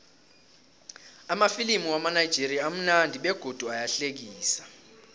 amafilimu wamanigerian amunandi begodu ayahlekisa